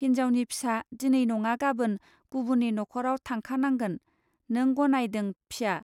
हिन्जावनि फिसा दिनै नङा गाबोन, गुबुननि नखराव थांखा नांगोन नों गनायदों फिया